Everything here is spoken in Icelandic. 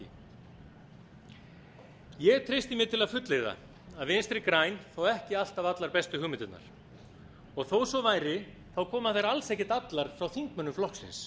alþingi ég treysti mér til að fullyrða að vinstri græn fá ekki alltaf allar bestu hugmyndirnar og þótt svo væri koma þær alls ekki allar frá þingmönnum flokksins